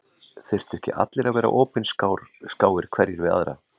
Þyrftu ekki allir að vera opinskáir hverjir við aðra